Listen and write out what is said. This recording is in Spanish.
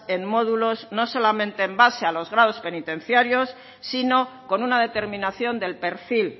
en módulos no solamente en base a los grados penitenciarios sino con una determinación del perfil